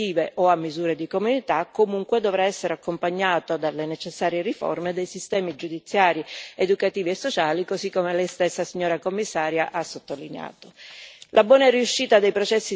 Il crescente ricorso a pene alternative o a misure di comunità, comunque, dovrà essere accompagnato dalle necessarie riforme dei sistemi giudiziari, educativi e sociali, così come lei stessa, signora Commissaria ha sottolineato.